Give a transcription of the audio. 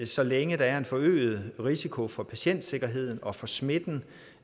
så længe der er en forøget risiko for patientsikkerheden og for smitten